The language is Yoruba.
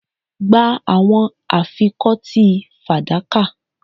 Gbe awọn afikọti fadaka